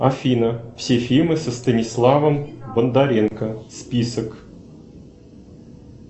афина все фильмы со станиславом бондаренко список